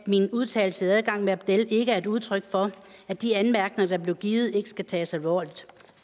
min udtalelse til adgang med abdel ikke er et udtryk for at de anmærkninger der blev givet ikke skulle tages alvorligt